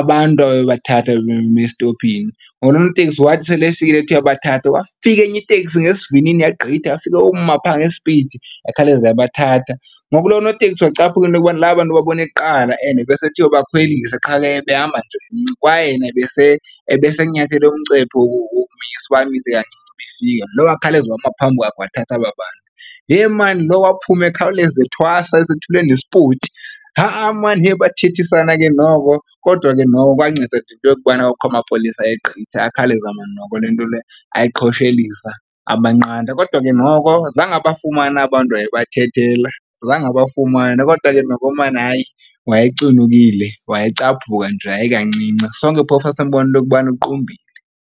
abantu ababebathathu ababeme estophini. Ngoku lo noteksi wathi sele efikile ethi uyabathatha kwafika enye iteksi ngesivinini yagqitha yafike yoma phaa ngespidi yakhawuleza yabathatha. Ngoku loo notekisi wacaphuka into yokubana aba bantu ubabone kuqala and besethi uyobakhwelisa qha ke ebehamba nje kwaye ebesenyathele umcepho wokumisa uba amise kancinci . Lo wakhawuleza wama phambi kwakhe wathatha aba bantu. Yhe maan loo waphuma ekhawuleza ethwahla esethule nespoti. Ha-a maan yeyi bathethisana ke noko kodwa ke noko kwanceda nje into yokubana kwakukho amapolisa ayegqitha akhawuleza maan noko le nto le ayiqoshelisa, abanqanda. Kodwa ke noko zange abafumane aba' ntu wayebathethela zange abafumane kodwa ke noko maan hayi wayecunukile, wayecaphuka nje hayi kancinci sonke phofu sasimbona into yokubana uqumbile.